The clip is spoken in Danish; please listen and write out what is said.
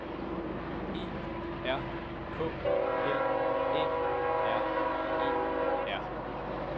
E R K L Æ R E R